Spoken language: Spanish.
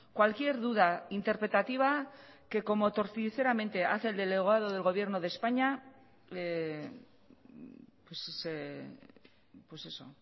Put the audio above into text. cualquier duda interpretativa que como torticeramente hace el delegado del gobierno de españa pues eso